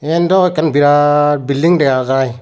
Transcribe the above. yen dow ekkan birat bilding dagajai.